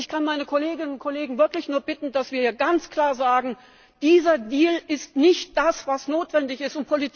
Ich kann meine Kolleginnen und Kollegen wirklich nur bitten, dass wir hier ganz klar sagen Dieser Deal ist nicht das, was notwendig ist.